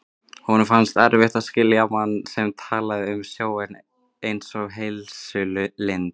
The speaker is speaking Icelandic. Honum fannst erfitt að skilja mann sem talaði um sjóinn einsog heilsulind.